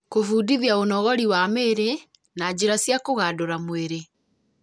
Kũbundithia ũnogori wa mĩĩrĩ na njĩra cia kũgandũra mwĩrĩ